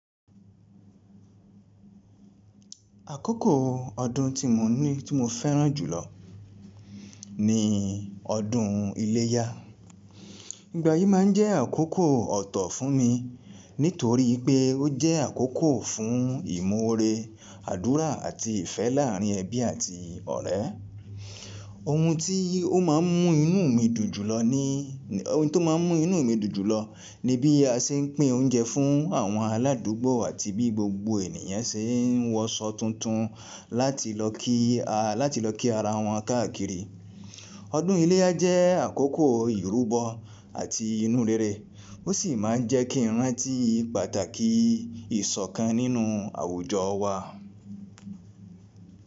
Àkókò ọdún tí mo ní tí mo fẹ́ràn jùlọ ní ọdún iléyá. Igbà yìí má ń jẹ́ àkókò ọ̀tọ̀ fún mi nítorí pé ó jẹ́ àkókò fún ìmọ̀ore, àdúrà àti ìfẹ́ láàrin ẹbí àti ọ̀rẹ́. Ohun tí ó má ń mú inú mi dù jùlọ ní ohun tó má ń mú inú mi dù jùlọ ni bí a ṣe ń pín oúnjẹ fún àwọn aládùúgbò àti bí gbogbo ènìyàn ṣe ń wọṣọ tuntun láti lọ kí a láti lọ kí ara wọn káàkiri. Ọdún iléyá jẹ́ àkókò ìrúbọ àti inú rere ó sì máa ń jẹ́ kí n rán tí pàtàkì ìṣọ̀kan nínú àwùjọ wa.